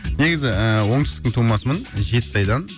негізі ііі оңтүстіктің тумасымын жетісайдан